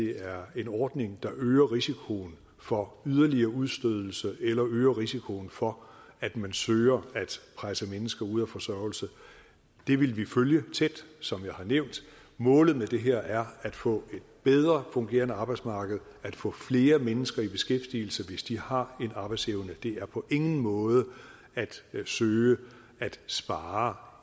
er en ordning der øger risikoen for yderligere udstødelse eller øger risikoen for at man søger at presse mennesker ud af forsørgelse det vil vi følge tæt som jeg har nævnt målet med det her er at få et bedre fungerende arbejdsmarked at få flere mennesker i beskæftigelse hvis de har en arbejdsevne det er på ingen måde at søge at spare